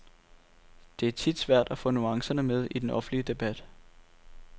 Det er tit svært at få nuancerne med i den offentlige debat.